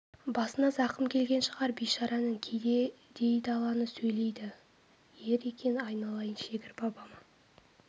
басына зақым келген шығар бейшараның кейде дөй даланы сөйлейді ер екен айналайын шегір бабама